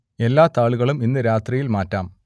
എല്ലാ താളുകളും ഇന്നു രാത്രിയിൽ മാറ്റാം